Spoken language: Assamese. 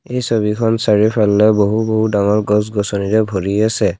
এই ছবিখন চাৰিওফালে বহু বহু ডাঙৰ গছ-গছনিৰে ভৰি আছে।